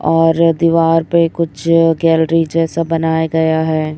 और दीवार पे कुछ गैलरी जैसा बनाया गया है।